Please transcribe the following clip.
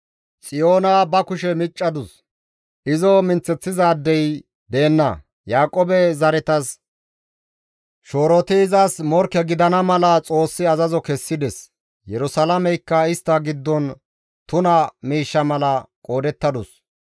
Xiyoona ba kushe miccadus; izo minththeththizaadey deenna; Yaaqoobe zaretas shooroti izas morkke gidana mala Xoossi azazo kessides; Yerusalaameykka istta giddon tuna miishsha mala qoodettadus.